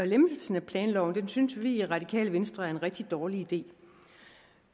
lempelsen af planloven synes vi i radikale venstre er en rigtig dårlig idé